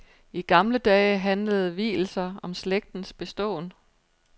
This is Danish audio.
I gamle dage handlede vielser om slægtens beståen.